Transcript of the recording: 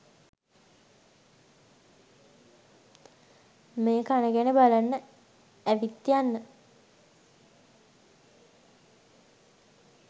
මේ කණගැන බලන්න ඇවිත් යන්න.